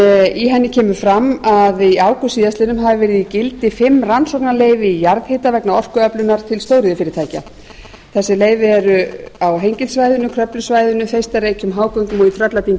í henni kemur fram að í ágúst síðastliðnum hafi verið í gildi fimm rannsóknarleyfi í jarðhita vegna orkuöflunar til stóriðjufyrirtækja þessi leyfi eru á hengilssvæðinu kröflusvæðinu þeistareykjum hágöngum og í trölladyngju á